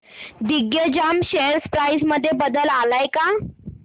Digjam share price मध्ये बदल आलाय का